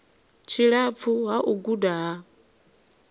tshilapfu ha u guda ha